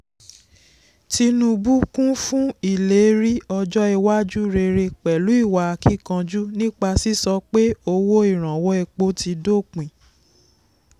tinubu kún fún ìlérí ọjọ́ iwájú rere pẹ̀lú ìwa akíkanjú nípa sísọ pé owó ìrànwọ́ epo ti dópin.